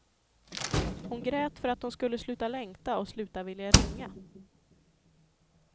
Hon grät för att hon skulle sluta längta och sluta vilja ringa.